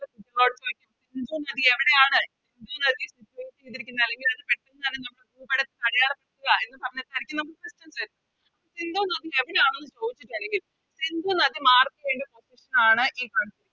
സിന്ധു നദി എവിടെയാണ് സിന്ധു നദി Situate ചെയ്തിരിക്കുന്നത് അല്ലെങ്കിൽ അത് ഭൂപടത്തിൽ അടയാളപ്പെടുത്തുക എന്ന് സിന്ധു നദി എവിടെയാണെന്ന് ചോദിച്ചിട്ടാരിക്കും സിന്ധു നദി വേണ്ടി ആണ്